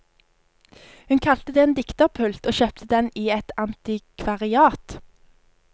Hun kalte det en dikterpult, og kjøpte den i et antikvariat.